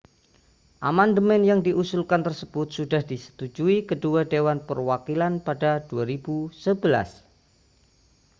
amandemen yang diusulkan tersebut sudah disetujui kedua dewan perwakilan pada 2011